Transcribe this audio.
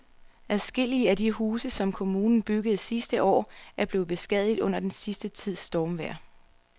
Adskillige af de huse, som kommunen byggede sidste år, er blevet beskadiget under den sidste tids stormvejr.